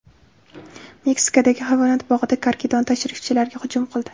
Meksikadagi hayvonot bog‘ida karkidon tashrifchilarga hujum qildi .